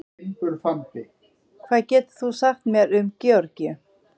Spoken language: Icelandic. hvað getur þú sagt mér um georgíu